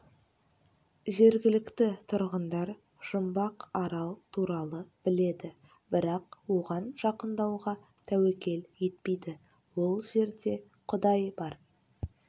жергілікті тұрғындар жұмбақ арал туралы біледі бірақ оған жақындауға тәуекел етпейді ол жерде құдай бар